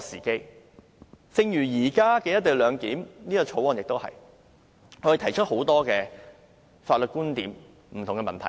正如現時的《條例草案》亦如是，我們提出了很多法律觀點、不同的問題。